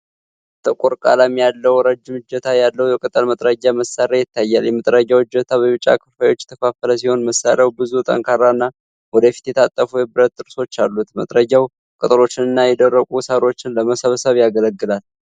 ጥቁር ቀለም ያለው ረጅም እጀታ ያለው የቅጠል መጥረጊያ መሳሪያ ይታያል። የመጥረጊያው እጀታ በቢጫ ክፍልፋዮች የተከፋፈለ ሲሆን፣ መሳሪያው ብዙ ጠንካራና ወደ ፊት የታጠፉ የብረት ጥርሶች አሉት። መጥረጊያው ቅጠሎችንና የደረቁ ሳሮችን ለመሰብሰብ ያገለግላል።